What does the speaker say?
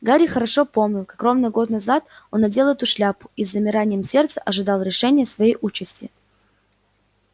гарри хорошо помнил как ровно год назад он надел эту шляпу и с замиранием сердца ожидал решения своей участи